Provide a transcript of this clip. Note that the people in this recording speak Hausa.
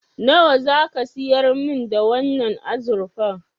Nawa zaka siyar min da wannan azurfar?